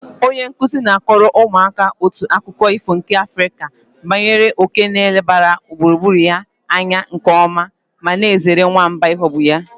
Onye nkuzi na-akọrọ ụmụaka otu akụkọ ifo nke Afrịka banyere òké nke na-elebara gburugburu ya anya nke ọma ma na-ezere nwamba ịghọgbụ ya.